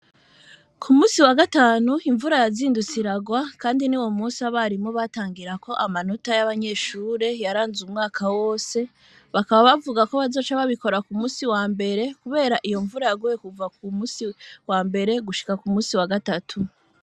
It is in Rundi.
Ku musi wa gatanu imvura yazindutsiragwa, kandi ni wo musi abarimo batangira ko amanota y'abanyeshure yaranze umwaka wose bakaba bavuga ko bazoca babikora ku musi wa mbere, kubera iyo mvura yagoye kuva ku musi wa mbere gushika ku musi wa gatatu.